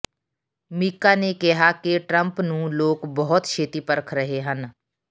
ਮੀਕਾ ਨੇ ਕਿਹਾ ਕਿ ਟਰੰਪ ਨੂੰ ਲੋਕ ਬਹੁਤ ਛੇਤੀ ਪਰਖ ਰਹੇ ਹਨ